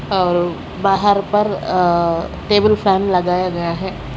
और बाहर पर अ टेबल फैन लगाया गया है।